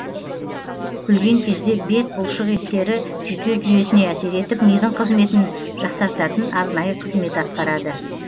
күлген кезде бет бұлшық еттері жүйке жүйесіне әсер етіп мидың қызметін жақсартатын арнайы қызмет атқарады